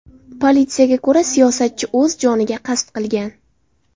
Politsiyaga ko‘ra, siyosatchi o‘z joniga qasd qilgan.